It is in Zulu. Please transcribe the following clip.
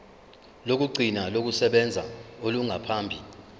lokugcina lokusebenza olungaphambi